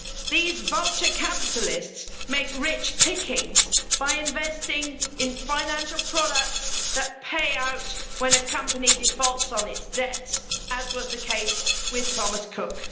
These vulture capitalists make rich pickings by investing in financial products that pay out when a company defaults on its debts, as was the case with Thomas Cook.